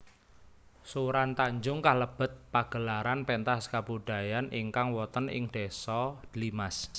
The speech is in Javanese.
Suran Tanjung kalebet pagelaran pentas kabudayan ingkang woten ing désa Dlimas